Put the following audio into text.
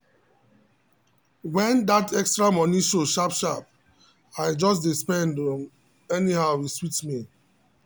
when that extra money show sharp sharp i just dey spend um anyhow e sweet me well.